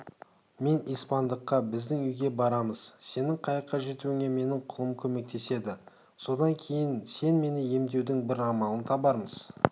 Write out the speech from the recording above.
мен испандыққа біздің үйге барамыз сенің қайыққа жетуіңе менің құлым көмектеседі содан кейін сені емдеудің бір амалын табармыз